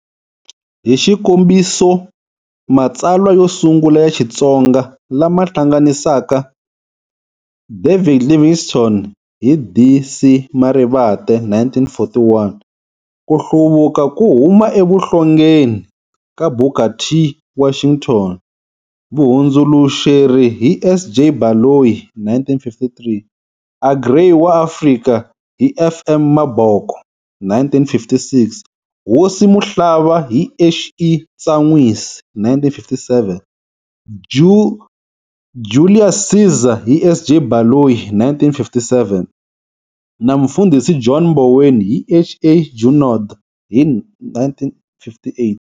Hixikombiso, matsalwa yo sungula ya xitsonga lama hlanganisaka"David Livingstone" hi D.C Marivate,1941,"Kuhluvuka ku huma evuhlongeni ka Booket T. Washington" vuhundzuluxeri hi S.J. Baloyi,1953,"Agrrey wa Afrika" hi F.M. Maboko,1956,"Hosi Muhlaba" hi H.E. Ntsanwisi,1957,"Julius Ceasar" hi S.J. Baloyi,1957, na"Mufundhisi John Mboweni" hi H.A. Junod,1958.